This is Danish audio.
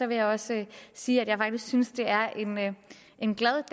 vil jeg også sige at jeg faktisk synes det er en glad